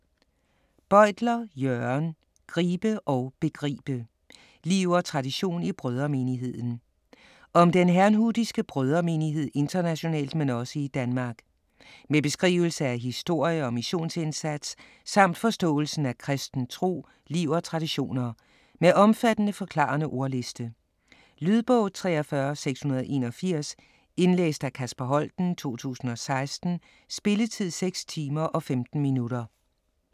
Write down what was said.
Bøytler, Jørgen: Gribe og begribe: liv og tradition i Brødremenigheden Om den herrnhutiske Brødremenighed internationalt men også i Danmark. Med beskrivelse af historie og missionsindsats, samt forståelsen af kristen tro, liv og traditioner. Med omfattende, forklarende ordliste. Lydbog 43681 Indlæst af Kasper Holten, 2016. Spilletid: 6 timer, 15 minutter.